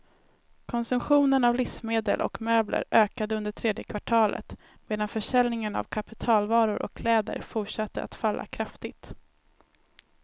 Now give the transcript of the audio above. Konsumtionen av livsmedel och möbler ökade under tredje kvartalet, medan försäljningen av kapitalvaror och kläder forstatte att falla kraftigt.